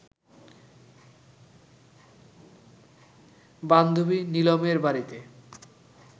বান্ধবী নিলমের বাড়িতে